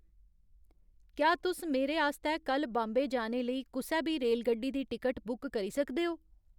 क्या तुस मेरे आस्तै कल्ल बाम्बे जाने लेई कुसै बी रेलगड्डी दी टिकट बुक करी सकदे ओ